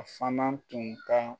A fana tun ka